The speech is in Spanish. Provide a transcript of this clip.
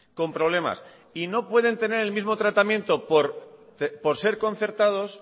con problemas y no pueden tener el mismo tratamiento por ser concertados